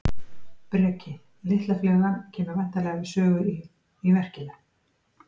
Breki: Litla flugan kemur væntanlega við sögu í, í verkinu?